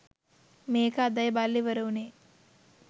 මේක අදයි බලලා ඉවර වුණේ